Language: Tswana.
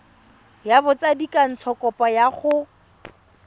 ya botsadikatsho kopo ya go